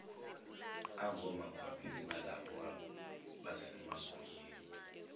angomakhwapheni balabo abasemagunyeni